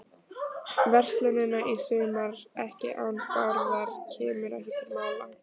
verslunina í sumar, ekki án Bárðar, kemur ekki til mála.